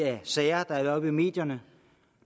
sager der har været oppe i medierne